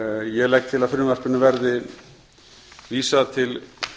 ég legg til að frumvarpinu verði vísað til